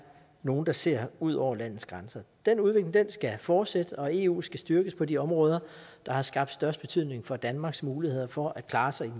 nogle der ser ud over landets grænser den udvikling skal fortsætte og eu skal styrkes på de områder der har skabt størst betydning for danmarks muligheder for at klare sig i